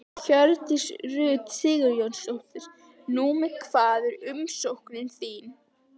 Hjördís Rut Sigurjónsdóttir: Númer hvað er umsóknin þín?